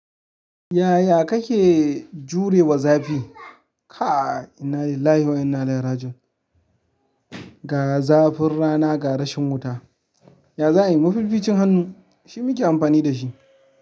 Yaya kake jure wa zafi? Kai inalilahi wa inna ilaihi rajiun ga zafin rana ga rashin wuta. Ya za'ayi inyi mafificin hannu, shi muke amfani da shi.